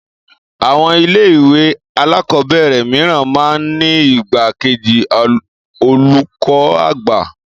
Àwon ilé ìwé alákòóbèrè mìíràn máa n ní igbá kejì olùkó àgbà